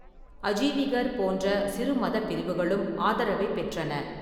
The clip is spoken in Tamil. அஜீவிகர் போன்ற சிறு மதப் பிரிவுகளும் ஆதரவைப் பெற்றன.